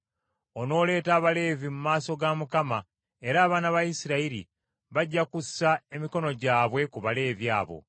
Onooleeta Abaleevi mu maaso ga Mukama , era abaana ba Isirayiri bajja kussa emikono gyabwe ku Baleevi abo.